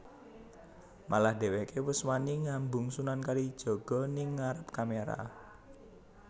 Malah dheweké wus wani ngambung Sunan Kalijaga ning ngarep kamera